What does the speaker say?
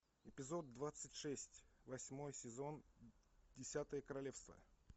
эпизод двадцать шесть восьмой сезон десятое королевство